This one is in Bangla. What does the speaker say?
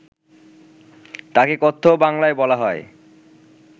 তাকে কথ্য বাংলায় বলা হয়